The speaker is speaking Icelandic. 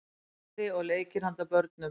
kvæði og leikir handa börnum